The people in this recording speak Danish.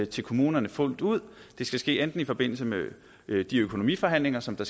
til kommunerne fuldt ud det skal ske enten i forbindelse med de økonomiforhandlinger som